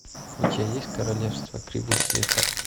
у тебя есть королевство кривых зеркал